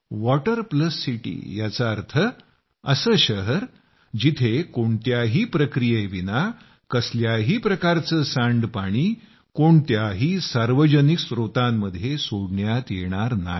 water plus city याचा अर्थ असे शहर जिथं कोणत्याही प्रक्रियेविना कसल्याही प्रकारचे सांडपाणी कोणत्याही सार्वजनिक स्त्रोतांमध्ये सोडण्यात येणार नाही